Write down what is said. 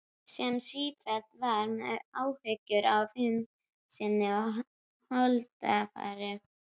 Sem sífellt var með áhyggjur af þyngd sinni og holdafari.